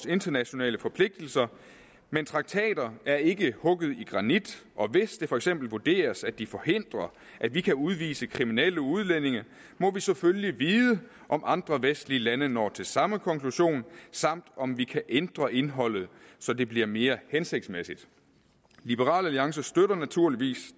internationale forpligtelser men traktater er ikke hugget i granit og hvis det for eksempel vurderes at de forhindrer at vi kan udvise kriminelle udlændinge må vi selvfølgelig vide om andre vestlige lande når til samme konklusion samt om vi kan ændre indholdet så det bliver mere hensigtsmæssigt liberal alliance støtter naturligvis